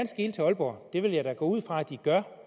skele til aalborg det vil jeg da gå ud fra de gør